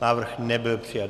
Návrh nebyl přijat.